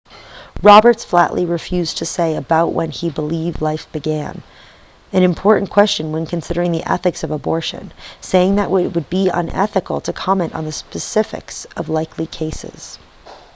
roberts flatly refused to say about when he believes life begins an important question when considering the ethics of abortion saying that it would be unethical to comment on the specifics of likely cases